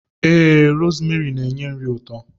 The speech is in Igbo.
Ee, rosmeri n'enye nri ụtọ.